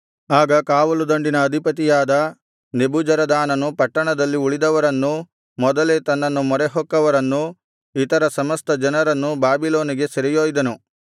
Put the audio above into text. ಆಗ ಕಾವಲು ದಂಡಿನ ಅಧಿಪತಿಯಾದ ನೆಬೂಜರದಾನನು ಪಟ್ಟಣದಲ್ಲಿ ಉಳಿದವರನ್ನೂ ಮೊದಲೇ ತನ್ನನ್ನು ಮೊರೆಹೊಕ್ಕವರನ್ನೂ ಇತರ ಸಮಸ್ತ ಜನರನ್ನೂ ಬಾಬಿಲೋನಿಗೆ ಸೆರೆಯೊಯ್ದನು